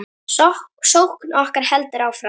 Sókn okkar heldur áfram.